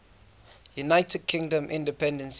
united kingdom independence